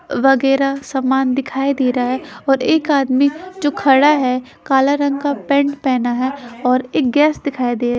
वगैरह समान दिखाई दे रहा है और एक आदमी जो खड़ा है। कला रंग का पैंट पहना है और एक गैस दिखाई दे --